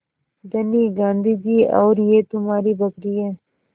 धनी गाँधी जी और यह तुम्हारी बकरी है